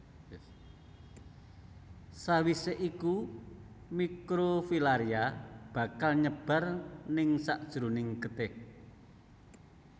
Sawisé iku mikrofilaria bakal nyebar ningsakjeroning getih